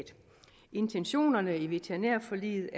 intentionerne i veterinærforliget